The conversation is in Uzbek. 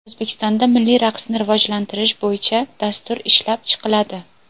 O‘zbekistonda milliy raqsni rivojlantirish bo‘yicha dastur ishlab chiqiladi.